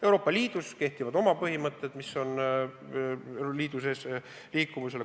Euroopa Liidus kehtivad oma põhimõtted liidu sees liikumise kohta.